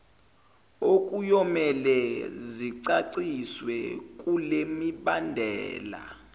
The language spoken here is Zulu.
okuyomele zicaciswe kulemibandela